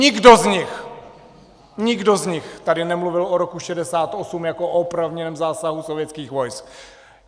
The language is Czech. Nikdo z nich, nikdo z nich tady nemluvil o roku 1968 jako o oprávněném zásahu sovětských vojsk.